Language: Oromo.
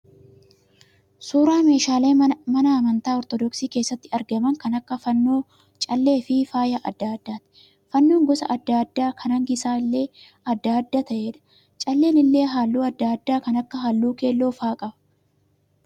Suuraa meeshaalee mana amantaa 'Ortodoksii' keessatti argaman kan akka fannoo, callee fi faaya adda addaati. Fannoo gosa adda addaa kan hangi isaa illee adda adda ta'eedha. Calleen illee halluu adda addaa kan akka halluu keelloo fa'a qaba.